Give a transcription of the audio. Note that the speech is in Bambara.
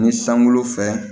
Ni sangolo fɛ